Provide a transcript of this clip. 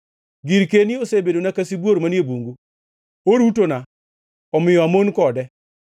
Girkeni osebedona ka sibuor manie bungu. Orutona; omiyo amon kode.